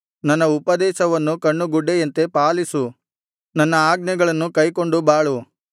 ನನ್ನ ಉಪದೇಶವನ್ನು ಕಣ್ಣುಗುಡ್ಡೆಯಂತೆ ಪಾಲಿಸು ನನ್ನ ಆಜ್ಞೆಗಳನ್ನು ಕೈಕೊಂಡು ಬಾಳು